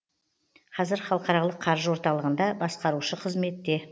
қазір халықаралық қаржы орталығында басқарушы қызметте